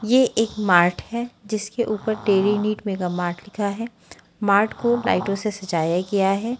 ए एक मार्ट है जिसके ऊपर टेरी नीट मेगा मार्ट लिखा है मार्ट को लाइटों से सजाया गया है।